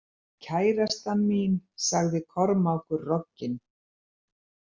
Kærastan mín, sagði Kormákur rogginn.